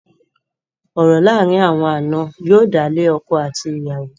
Ọ̀rọ̀ láàárín àwọn ànà yóò dálé ọkọ àti ìyàwó.